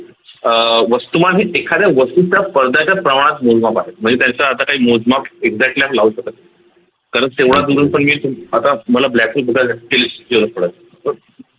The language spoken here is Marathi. अह वस्तुमान हे एखाद्या वस्तूच्या परदाच्या प्रमाणात मोजमाप आहे म्हणजे त्याचा आता काही मोजमाप एकदम काही लावू शकत नाही कारण तेव्हा